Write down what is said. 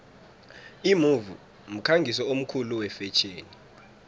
imove mkhangisi omkhulu wefetjheni